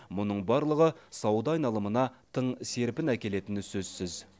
мұның барлығы сауда айналымына тың серпін әкелетіні сөзсіз